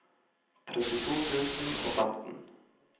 trettito tusen og femten